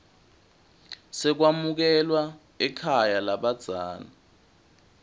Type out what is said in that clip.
sekwamukelwa ekhaya lalabadzela